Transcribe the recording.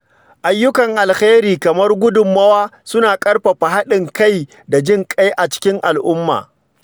Ayyukan alheri kamar gudummawa suna ƙarfafa haɗin kai da jin ƙai a cikin al’umma.